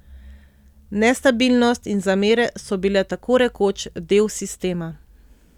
Nestabilnost in zamere so bile tako rekoč del sistema.